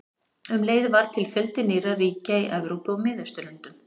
Um leið varð til fjöldi nýrra ríkja í Evrópu og Miðausturlöndum.